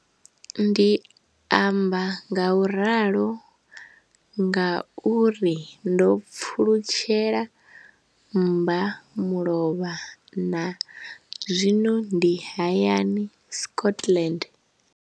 Ndi amba ngauralo nga uri ndo pfulutshela mbamulovha na zwino ndi hayani, Scotland.